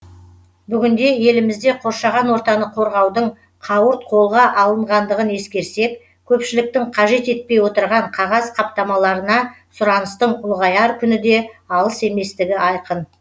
бүгінде елімізде қоршаған ортаны қорғаудың қауырт қолға алынғандығын ескерсек көпшіліктің қажет етпей отырған қағаз қаптамаларына сұраныстың ұлғаяр күні де алыс еместігі айқын